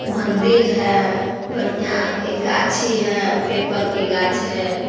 मंदिल है बढ़िया एक गाछी है पेपर के गाछ है।